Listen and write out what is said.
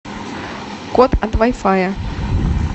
код от вай фая